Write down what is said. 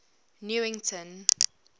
newington